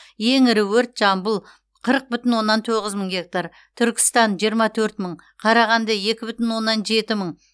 ең ірі өрт жамбыл қырық бүтін оннан тоғыз мың гектар түркістан жиырма төрт мың қарағанды екі бүтін оннан жеті мың